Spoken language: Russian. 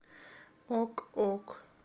ок ок